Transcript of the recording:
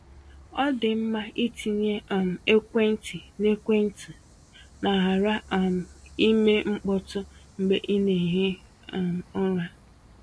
Ọ dị mma ịtinye um ekwentị na ekwentị na ‘ghara um ime mkpọtụ’ mgbe ị na-ehi um ụra.